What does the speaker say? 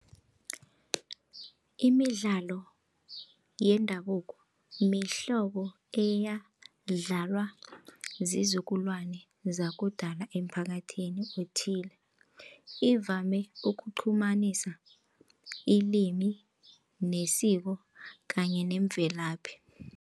Imidlalo yendabuko mihlobo eyadlalwa ziinzukulwane zakudala emphakathini okuthile ivame ukuqhumanisa ilimi nesiko kanye nemvelaphi.